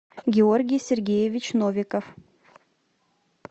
георгий сергеевич новиков